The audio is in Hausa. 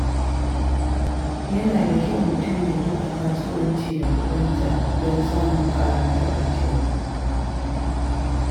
Yana da kyau mutum ya riƙa kasuwanci da kuɗinsa don samun ƙarin kuɗin shiga.